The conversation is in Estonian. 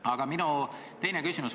Aga minu teine küsimus.